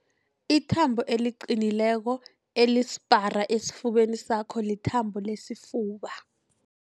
Ithambo eliqinileko elisipara esifubeni sakho lithambo lesifuba.